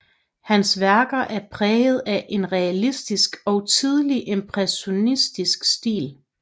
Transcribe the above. Hans værker er præget af en realistisk til tidlig impressionistisk stil